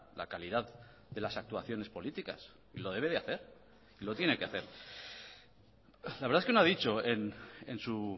la calidad de las actuaciones políticas y lo debe de hacer y lo tiene que hacer la verdad es que no ha dicho en su